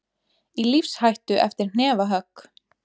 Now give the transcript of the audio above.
Í lífshættu eftir hnefahögg